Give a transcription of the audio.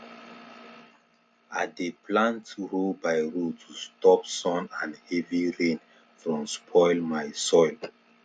i dey plant row by row to stop sun and heavy rain from spoil my soil